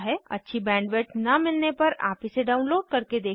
अच्छी बैंडविड्थ न मिलने पर आप इसे डाउनलोड करके देख सकते हैं